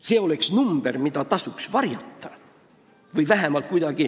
See on number, mida tasuks kuidagi varjata.